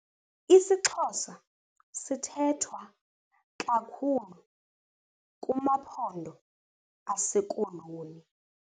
IsiXhosa sithethwa kakhulu kumaphondo aseKoloni.